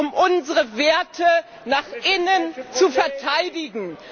um unsere Werte nach innen zu verteidigen.